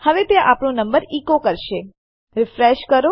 હવે તે આપણો નંબર ઇકો કરશે રિફ્રેશ કરો